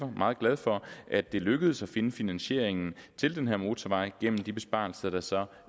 meget glad for at det lykkedes at finde finansieringen til den her motorvej gennem de besparelser der så